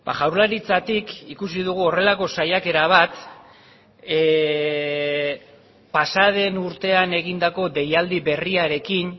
jaurlaritzatik ikusi dugu horrelako saiakera bat pasa den urtean egindako deialdi berriarekin